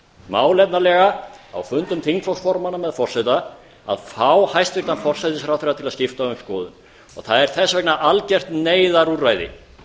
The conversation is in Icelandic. málefnalega á fundum þingflokksformanna með forseta að fá hæstvirtan forsætisráðherra til að skipta um skoðun það er þess vegna algert neyðarúrræði